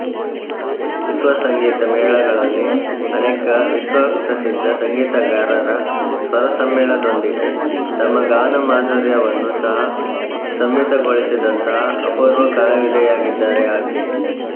ವಿಶ್ವ ಸಂಗೀತ ಮೇಳಗಳಲ್ಲಿ ಅನೇಕ ವಿಶ್ವಪ್ರಸಿದ್ಧ ಸಂಗೀತಗಾರರ ಸ್ವರಸಮ್ಮೇಳದೊಂದಿಗೆ ತಮ್ಮ ಗಾನಮಾಧುರ್ಯವನ್ನು ಸಹಾ ಸಮ್ಮಿಳಿತಗೊಳಿಸಿದಂತಹ ಅಪೂರ್ವ ಕಲಾವಿದೆಯಾಗಿದ್ದಾರೆ ಆಕೆ